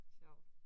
Sjovt